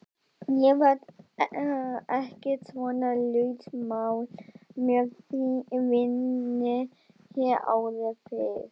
Ég var ekki svona lausmálg með víni hér áður fyrr.